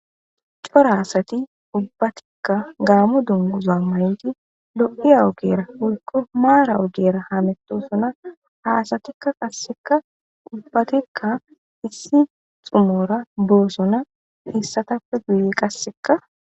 Cora asati ubbatika gaamo dunguza mayidi lo'iya ogiyara woykko mara ogiyara hamatisona.ha asatika qasika gulibatidi issi xumora bosona Issatapeka qassi guyeraka